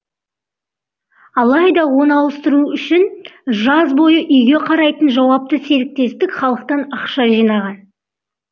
алайда оны ауыстыру үшін жаз бойы үйге қарайтын жауапты серіктестік халықтан ақша жинаған